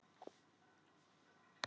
Leóna, ferð þú með okkur á þriðjudaginn?